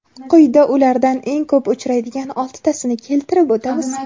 Quyida ulardan eng ko‘p uchraydigan oltitasini keltirib o‘tamiz.